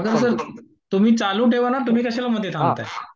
Sarode sir, तुम्ही चालू ठेवा ना. तुम्ही कशाला मध्ये थांबताय?